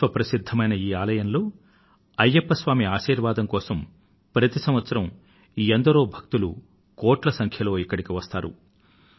విశ్వ ప్రసిధ్ధమైన ఈ ఆలయంలో అయ్యప్ప స్వామి ఆశీర్వాదం కోసం ప్రతి సంవత్సరం ఎందరో భక్తులు కోట్ల సంఖ్యలో ఇక్కడకు వస్తారు